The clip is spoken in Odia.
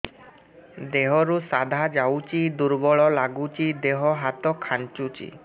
ଦେହରୁ ସାଧା ଯାଉଚି ଦୁର୍ବଳ ଲାଗୁଚି ଦେହ ହାତ ଖାନ୍ଚୁଚି